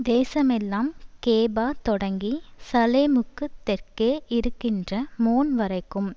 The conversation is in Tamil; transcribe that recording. தேசமெல்லாம் கேபாதொடங்கி சலேமுக்குத் தெற்கே இருக்கிற மோன்வரைக்கும்